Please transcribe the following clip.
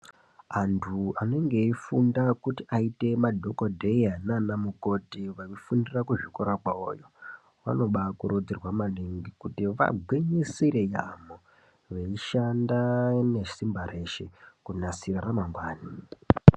Antu anenge eyifunda kuti aite madhogodheya naanamukoti vanofundira kuzvikora kwavo vanoba kurudzirwa maningi kuti vagwinyisire yaamho veyishanda nesimba reshe kunasira ramangwani.